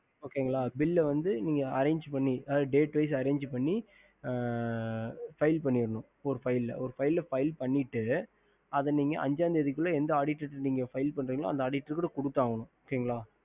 bill file பண்ணி date wise arrange பண்ணி அஞ்ச தேதிக்குள்ள நீங்க எந்த auditor file பண்றிங்களோ அந்த auditor குடுத்து ஆகணும்